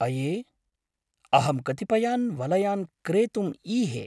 अये! अहं कतिपयान् वलयान् क्रेतुम् ईहे।